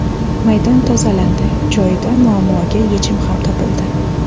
Maydon tozalandi, joyida muammoga yechim ham topildi.